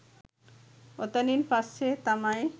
ඔතනින් පස්සෙ තමයි